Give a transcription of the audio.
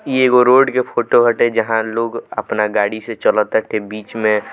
इ एगो रोड के फोटो बाटे जहाँ लोग अपना गाड़ी से चलत बीच में --